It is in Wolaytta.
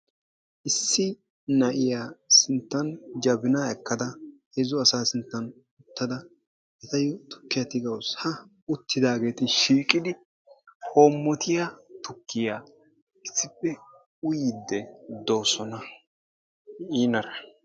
Issi na'iya sinttan jabinaa ekkada heezzu asaa sinttan uttada etayyo tukkiya tigawusu. Ha uttidaageeti shiiqidi hoommoyiya tukkiya issippe uyyiidde doosona.